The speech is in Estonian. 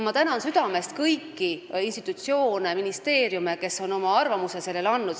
Ma tänan südamest kõiki institutsioone ja ministeeriume, kes on oma arvamuse andnud.